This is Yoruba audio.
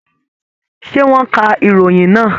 Ṣé, wọ́n ka ìròyìn náà?